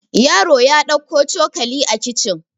yaro ya dauko cokali a kicin